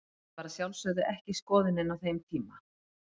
Þetta var að sjálfsögðu ekki skoðunin á þeim tíma.